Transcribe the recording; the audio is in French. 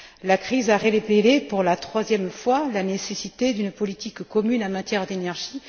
La crise a révélé, pour la troisième fois, la nécessité d'une politique commune en matière d'énergie.